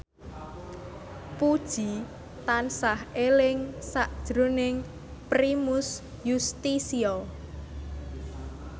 Puji tansah eling sakjroning Primus Yustisio